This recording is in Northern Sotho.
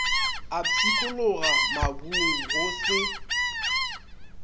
a pshikologa mabung go se